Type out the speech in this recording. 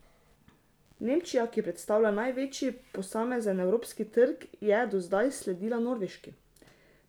Nemčija, ki predstavlja največji posamezen evropski trg, je do zdaj sledila Norveški.